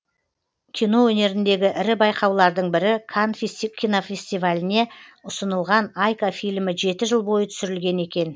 кино өнеріндегі ірі байқаулардың бірі канн кинофестиваліне ұсынылған айка фильмі жеті жыл бойы түсірілген екен